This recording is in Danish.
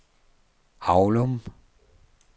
Avlum